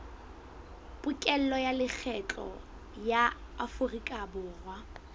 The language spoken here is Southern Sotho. pokello ya lekgetho ya aforikaborwa